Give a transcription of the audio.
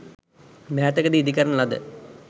මෑතකදී ඉදි කරන ලද